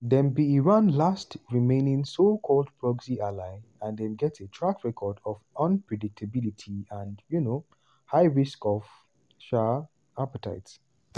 dem be iran last remaining so-called proxy ally and dem get a track record of unpredictability and um high risk um appetite.